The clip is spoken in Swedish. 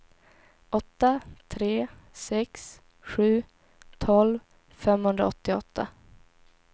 åtta tre sex sju tolv femhundraåttioåtta